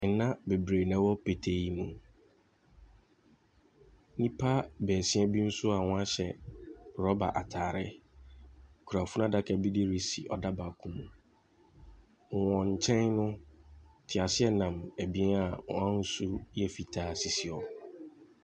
Ɛna bebree na ɛwɔ petee yi mu, nnipa baasia bi nso wɔn a hyɛ rɔba ataare kura funu adaka bi de resi ɔda baako mu. Wɔn nkyɛn no, teaseɛnam ebien a wɔn ahosuo yɛ fitaa sisi hɔ.